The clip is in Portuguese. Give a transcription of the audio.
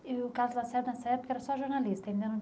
E o Carlos Lacerda nessa época era só jornalista, ainda não...